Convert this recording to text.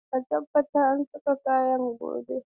A tabbatar an saki kayana gobe.